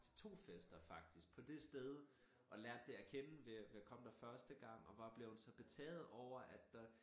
Til 2 fester faktisk på dét sted og lært det at kende ved ved at komme der første gang og var blevet så betaget over at der